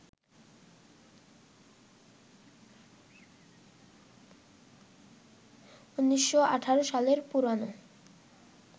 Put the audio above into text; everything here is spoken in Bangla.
১৯১৮ সালের পুরোনো